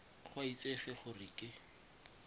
go a itsege gore ke